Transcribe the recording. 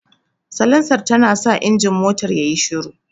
Salansar tanasa injin motar yayi shiru.